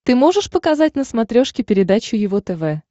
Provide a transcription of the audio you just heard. ты можешь показать на смотрешке передачу его тв